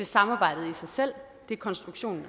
samarbejdet i sig selv det er konstruktionen